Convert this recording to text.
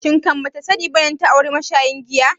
Shin kan bata sani bane data auri mashayin giya?